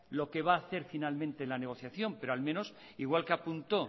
lo que va a hacer finalmente en la negociación pero al menos igual que apuntó